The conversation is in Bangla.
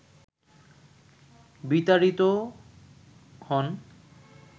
বিতাড়িতও হন